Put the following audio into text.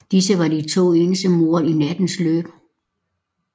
Disse var de eneste to mord i nattens løb